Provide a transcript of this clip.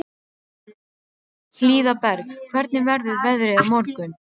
Hlíðberg, hvernig verður veðrið á morgun?